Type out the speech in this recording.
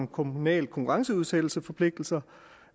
kommunale konkurrenceudsættelsesforpligtelser